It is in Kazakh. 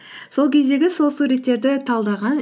сол кездегі сол суреттерді талдаған